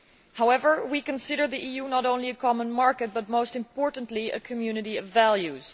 However, we consider the EU to be not only a common market but, most importantly, a community of values.